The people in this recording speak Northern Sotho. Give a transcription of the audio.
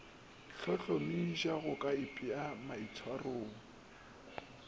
hlohlomiša go ka ipea maitshwarong